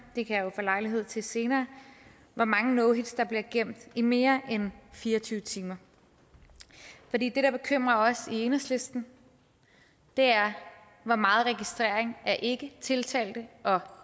det kan jeg jo få lejlighed til senere hvor mange no hits der bliver gemt i mere end fire og tyve timer for det der bekymrer os i enhedslisten er hvor meget registrering af ikketiltalte og